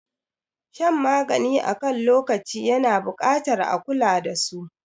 Shan magani akan lokaci yana buƙatar a kula dasu.